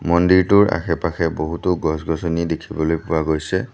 মন্দিৰটোৰ আশে-পাশে বহুতো গছ গছনি দেখিবলৈ পোৱা গৈছে।